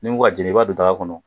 Nin nk ko k'a jeni i b'a don daga kɔnɔ